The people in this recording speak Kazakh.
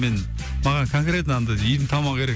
мен маған конретно андай үйдің тамағы керек